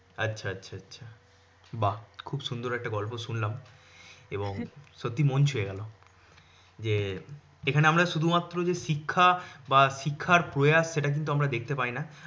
আচ্ছা আচ্ছা আচ্ছা। বাহ খুব সুন্দর একটা গল্প শুনলাম। এবং সত্যি মন ছুঁয়ে গেলো। যে এখানে আমরা শুধু মাত্র যে শিক্ষা বা শিক্ষার প্রয়াস সেটা কিন্তু আমরা দেখতে পাইনা